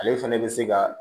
Ale fɛnɛ bɛ se ka